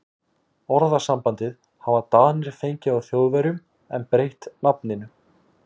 Orðasambandið hafa Danir fengið frá Þjóðverjum en breytt nafninu.